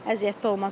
Əziyyətli olmaz.